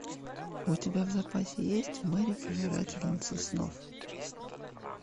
у тебя в запасе есть мерри пожирательница снов